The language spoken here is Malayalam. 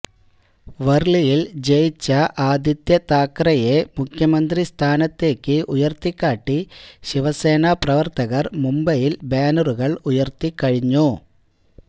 വർളിയിൽ ജയിച്ച ആദിത്യ താക്കറേയെ മുഖ്യമന്ത്രിസ്ഥാനത്തേക്ക് ഉയർത്തിക്കാട്ടി ശിവസേനാ പ്രവർത്തകർ മുംബൈയിൽ ബാനറുകൾ ഉയർത്തിക്കഴിഞ്ഞു